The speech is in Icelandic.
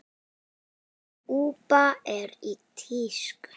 Kúba er í tísku.